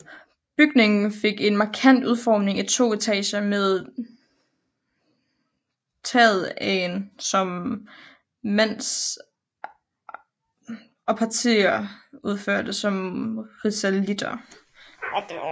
Bygningen fik en markant udformning i to etager med tagetagen som mansardtag og partier udført som risalitter